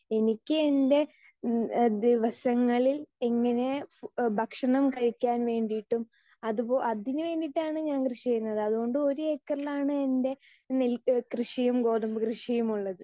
speaker 2 എനിക്ക് എൻ്റെ ഏഹ്മ് ദിവസങ്ങളിൽ എങ്ങിനെ ഭക്ഷണം കഴിക്കാൻ വേണ്ടിട്ടും അതുപോ അതിന് വേണ്ടീട്ടാണ് ഞാൻ കൃഷി ചെയ്യുന്നത് അതുകൊണ്ട് ഒരു ഏക്കറിലാണ് എൻ്റെ നെൽ കൃഷിയും ഗോതമ്പ് കൃഷിയും ഉള്ളത്